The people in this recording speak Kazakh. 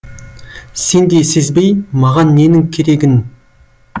сен де сезбей маған ненің керегін